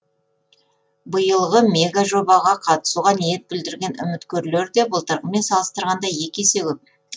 биылғы мегажобаға қатысуға ниет білдірген үміткерлер де былтырғымен салыстырғанда екі есе көп